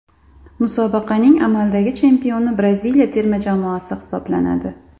Musobaqaning amaldagi chempioni Braziliya terma jamoasi hisoblanadi.